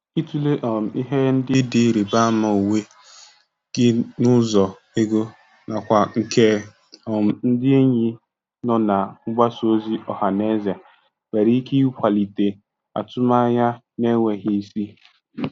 Ịtụle um ihe ndị dị ịrịba ama onwe gị n'ụzọ ego na kwa nke um ndị enyi nọ na mgbasa ozi ọha na eze nwere ike ịkwalite atụmanya na-enweghị isi. um